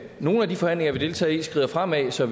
nogle af de forhandlinger vi deltager i skrider fremad så